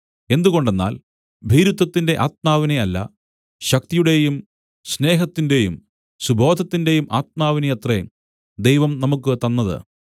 എന്തുകൊണ്ടെന്നാൽ ഭീരുത്വത്തിന്റെ ആത്മാവിനെ അല്ല ശക്തിയുടെയും സ്നേഹത്തിന്റെയും സുബോധത്തിന്റെയും ആത്മാവിനെയത്രേ ദൈവം നമുക്കു തന്നത്